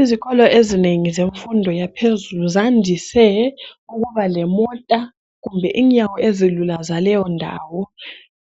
Izikolo ezinengi zemfundo yaphezulu zandise ukuba lemota kumbe inyawo ezilula zaleyo ndawo.